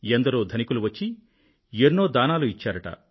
ఎందరో ధనికులు వచ్చి ఎన్నో దానాలు ఇచ్చారట